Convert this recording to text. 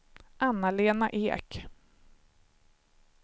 Anna-Lena Ek